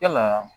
Yalaa